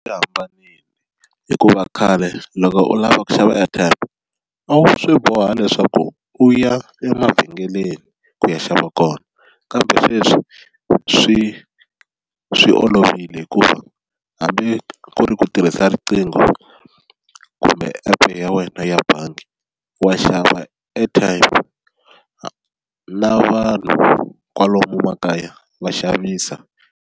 Yi hambanile hikuva khale loko u lava ku xava airtime a wu swi boha leswaku u ya emavhengeleni ku ya xava kona kambe sweswi swi swi olovile hikuva hambi ku ri ku tirhisa riqingho kumbe app ya wena ya bangi wa xava airtime na vanhu kwalomu makaya va xavisa.